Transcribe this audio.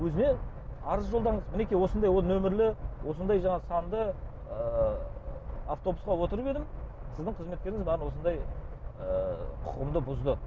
өзіне арыз жолдаңыз мінекей осындай нөмірлі осындай жаңағы санды ы автобусқа отырып едім сіздің қызметкеріңіз маған осындай ыыы құқығымды бұзды